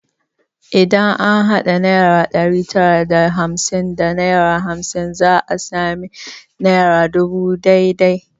Idan an hada naira ɗari tara da hamsin da naira hamsin za a sami naira dubu ɗaya dai dai